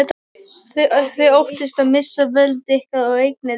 Þið óttist að missa völd ykkar og eignir.